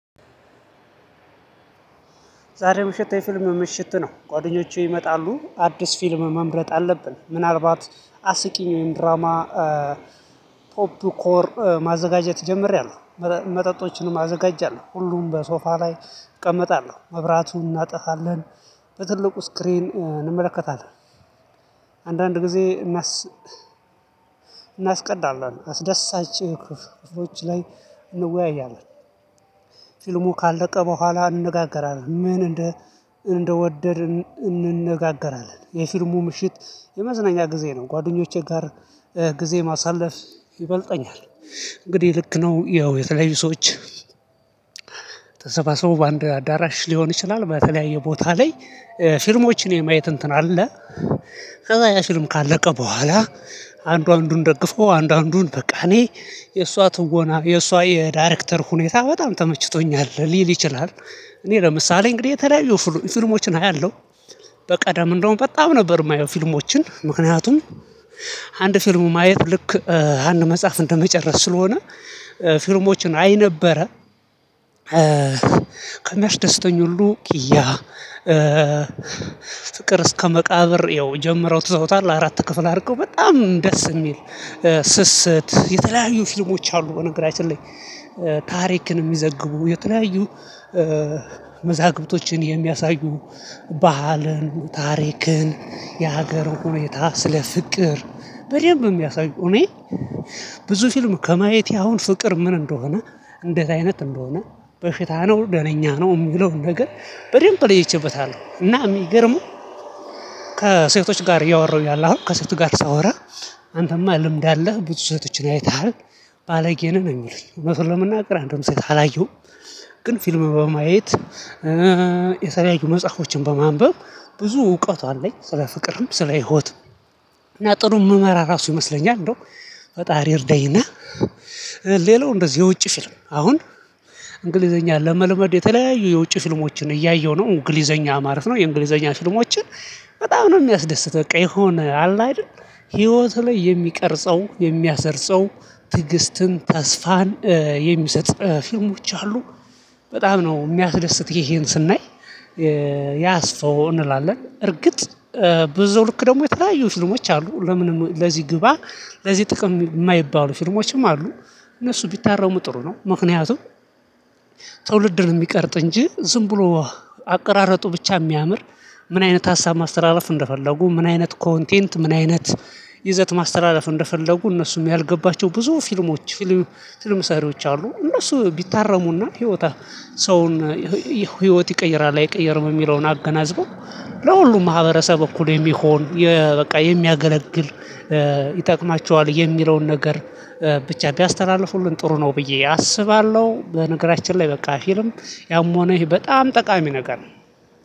ዛሬ ምሽት የፊልም ምሽት ነው። ጓደኞቼ ይመጣሉ፤ አዲስ ፊልም መምረጥ አለብን፤ ምናልባት አስቂኝ ወይም ድራማ ኤ ፖፕ ኮር ማዘጋጀት ጀመሬያለሁ። እ መጠጦችንም አዘጋጃለህ ሁሉም በሶፋ ላይ እቀመጣለሁ መብራቱን እናጠፋለን በትልቁ ስክሪን እንመለከታለን። አንዳንድ ጊዜ እናስቀዳለን፤ አስደሳች ክፍሎች ላይ እንወያያለን። ፊልሙ ካለቀ በኋላ እንነጋገራለን፤ ምን እንደ እንደወደድ እንነጋገራለን። የፊልሙ ምሽት የመዝናኛ ጊዜ ነው፤ ጓደኞቼ ጋር ጊዜ ማሳለፍ ይበልጠኛል። እንግዲህ ልክ ነው ያው የተለያዩ ሰዎች ተሰባሰቡ በአንድ አዳራሽ ሊሆን ይችላል። በተለያየ ቦታ ላይ እ ፊልሞችን የማየት እንትን አለ። ከዛ ያ ፊልም ካለቀ በኋላ፤ አንዱ አንዱን ደግፎ አንዱን በቃ፤ እኔ የእሷ ትወና የእሷ የዳይሬክተር ሁኔታ በጣም ተመችቶኛል ሊል ይችላል። እኔ ለምሳሌ፣ እንግዲህ የተለያዩ ፊልሞችን አያለሁ። በቀደም እንደውም በጣም ነበር የማየው ፊልሞችን ምክንያቱም አንድ ፊልሙ ማየት ልክ ኤ አንድ መጽሐፍ እንደመጨረስ ስለሆነ፤ ኤ ፊልሞችን አይ ነበረ። ኤ ከሚያስደስቱኝ ሁሉ ኪያ፣ ኤ ፍቅር እስከመቃብር ይኸው ጀምረው ትዘውታል አራት ክፍል አድርገው በጣም ደስ የሚል ኤ ስስት የተለያዩ ፊልሞች አሉ በነገራችን ላይ፤ ኤ ታሪክን የሚዘግቡ፣ የተለያዩ ኤ መዛግብቶችን የሚያሳዩ፣ ባህልን፣ ታሪክን፣ የሀገር ሁኔታን፣ ስለ ፍቅር በደንብ የሚያሳዩ እኔ ብዙ ፊልም ከማየቴ አሁን ፍቅር ምን እንደሆነ፣ እንደዚህ አይነት እንደሆነ፣ በሽታ ነው፣ ደህነኛ ነው የሚለውን ነገር በደንብ ለይቼበታለሁ። እና የሚገርመው ከሴቶች ጋር እያወራሁ እያለ አሁን፣ ከሴቶች ጋር ሳወራ፣ አንተማ ልምድ አለህ፣ ብዙ ሰዎችን አይተሃል፣ ባለጌ ነህ ነው የሚሉኝ። ለመናገር አንዱም ሴት አላየሁም፣ ግን ፊልም በማየት እ የተለያዩ መጻፎችን በማንበብ ብዙ እውቀት አለኝ፣ ስለ ፍቅርም ስለ ህይወትም። እና ጥሩ የምመራ ራሴ ይመስለኛል። እንደው ፈጣሪ እርዳኝና ኤ ሌላው እንደዚህ የውጭ ፊልም አሁን እንግሊዝኛ ለመልመድ የተለያዩ የውጭ ፊልሞችን እያየሁ ነው። እንግሊዝኛ ማረፍ ነው። የእንግሊዝኛ ፊልሞችን በጣም ነው የሚያስደስተኝ። በቃ፣ የሆነ አለ አይደል፣ በህይወት ላይ የሚቀረጸው፣ የሚያስርጸው፣ ትዕግሥትንና ተስፋን የሚሰጥ ፊልሞች አሉ። በጣም ነው የሚያስደስተኝ ይሄን ስናይ የኤ ያስፋው እንላለን፣ እርግጥ ኤ ብዙ ልክ ደግሞ የተለያዩ ፊልሞች አሉ። ለምንም፣ ለዚህ ግባ፣ ለዚህ ጥቅም የማይባሉ ፊልሞችም አሉ። እነሱ ቢታረው ምጥሩ ነው፣ ምክንያቱም ትውልድን የሚቀርጽ እንጂ፣ ዝም ብሎ አቀራረጡ ብቻ የሚያምር፣ ምን አይነት ሀሳብ ማስተላለፍ እንደፈለጉ፣ ምን አይነት ኮንቴንት፣ ምን አይነት ይዘት ማስተላለፍ እንደፈለጉ እነሱም ያልገባቸው ብዙ ፊልሞች ፊል ፊልም ሠሪዎች አሉ፤ እነሱ ቢታረሙና ሕይወታቸው ሰውን ይሄ ህይወት ይቀይራል፣ አይቀይርም የሚለውን አገናዝበው፣ ለሁሉም ማህበረሰብ እኩል የሚሆን፣ የ በቃ የሚያገለግል ኤ ይጠቅማችኋል የሚለውን ነገር ብቻ ቢያስተላልፉልን ጥሩ ነው ብዬ አስባለሁ። በነገራችን ላይ በቃ ፊልም ያም ሆነ ይህ በጣም ጠቃሚ ነገር